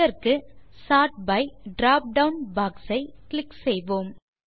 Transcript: இதற்கு sort by dropdown box ஐ click செய்வோம்